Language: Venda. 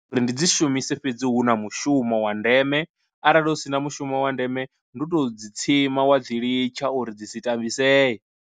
Uri ndi dzi shumise fhedzi hu na mushumo wa ndeme arali hu si na mushumo wa ndeme ndi u to dzi tsima wa dzi litsha uri dzi si tambiseye.